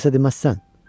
Heç kəsə deməzsən?